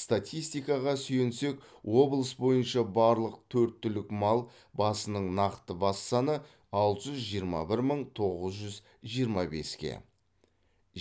статистикаға сүйенсек облыс бойынша барлық төрт түлік мал басының нақты бас саны алты жүз жиырма бір мың тоғыз жүз жиырма беске